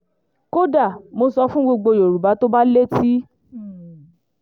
kódà mo sọ fún gbogbo yorùbá tó bá létí um